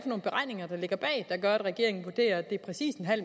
gør at regeringen vurderer at det er præcis